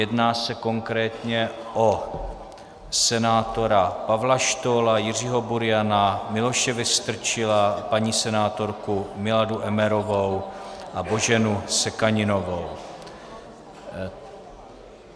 Jedná se konkrétně o senátora Pavla Štohla, Jiřího Buriana, Miloše Vystrčila, paní senátorku Miladu Emmerovou a Boženu Sekaninovou.